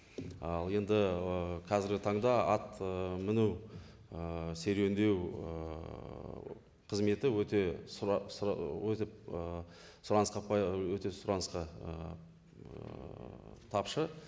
ал енді ііі қазіргі таңда ат ііі міну ііі серуендеу ііі қызметі өте сұранысқа ііі тапшы